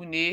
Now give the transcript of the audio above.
une yɛ